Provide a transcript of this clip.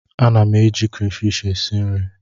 A na m eji krefishi esi nri.